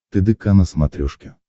тдк на смотрешке